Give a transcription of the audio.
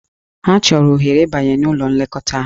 Ha chọrọ ohere ịbanye n'ụlọ nlekọta ahụ.